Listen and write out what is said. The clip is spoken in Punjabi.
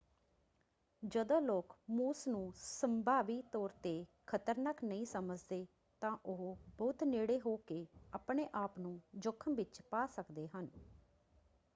ਜਦੋਂ ਲੋਕ ਮੂਸ ਨੂੰ ਸੰਭਾਵੀ ਤੌਰ ‘ਤੇ ਖ਼ਤਰਨਾਕ ਨਹੀਂ ਸਮਝਦੇ ਤਾਂ ਉਹ ਬਹੁਤ ਨੇੜੇ ਹੋ ਕੇ ਆਪਣੇ-ਆਪ ਨੂੰ ਜੋਖ਼ਮ ਵਿੱਚ ਪਾ ਸਕਦੇ ਹਨ।